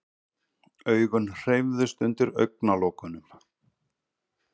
Augun hreyfðust undir augnalokunum.